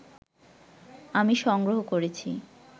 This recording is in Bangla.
আমি সংগ্রহ করেছি